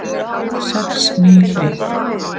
Sex ný hlið